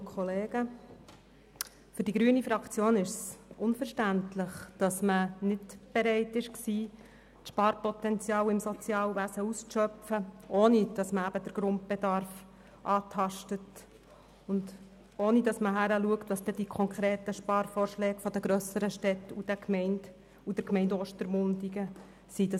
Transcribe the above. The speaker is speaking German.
Für die grüne Fraktion ist es unverständlich, dass man nicht bereit war, das Sparpotenzial im Sozialwesen auszuschöpfen, ohne den Grundbedarf anzutasten, und hinzusehen, welches die konkreten Sparvorschläge der grösseren Städte und der Gemeinde Ostermundigen sind;